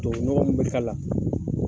Tubabu nɔgɔ min bɛ k'a la.